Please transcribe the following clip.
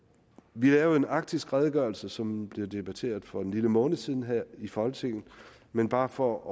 vi lavede en arktisk redegørelse som blev debatteret for en lille måned siden her i folketinget men bare for at